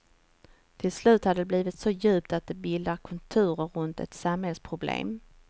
Till slut har det blivit så djupt att det bildar konturer runt ett samhällsproblem.